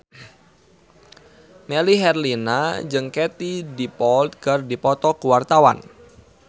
Melly Herlina jeung Katie Dippold keur dipoto ku wartawan